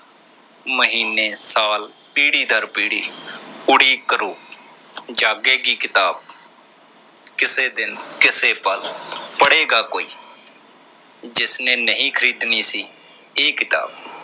ਮਹੀਨੇ, ਸਾਲ, ਪੀੜੀ ਦਰ ਪੀੜੀ ਉਡੀਕ ਕਰੋ। ਜਾਗੇ ਗੀ ਕਿਤਾਬ ਕਿਸੇ ਦਿਨ ਕਿਸੇ ਪਲ ਪੜ੍ਹੇਗਾ ਕੋਈ ਜਿਸਨੇ ਨਹੀਂ ਖਰੀਦਣੀ ਸੀ ਇਹ ਕਿਤਾਬ।